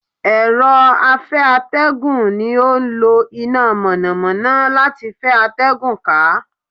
Èro afeategun ni o n lo ina mònàmóná lati fe atégùn ka